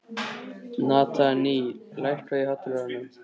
Natanael, lækkaðu í hátalaranum.